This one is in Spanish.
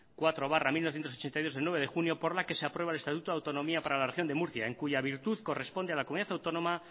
cuatro barra mil novecientos ochenta y dos del nueve de junio por la que se aprueba el estatuto de autonomía para la región de murcia en cuya virtud corresponde a la comunidad autónoma